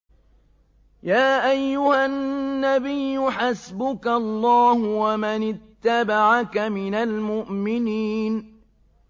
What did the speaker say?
يَا أَيُّهَا النَّبِيُّ حَسْبُكَ اللَّهُ وَمَنِ اتَّبَعَكَ مِنَ الْمُؤْمِنِينَ